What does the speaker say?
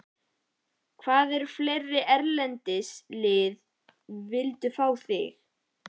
Hvaða fleiri erlend lið vildu fá þig?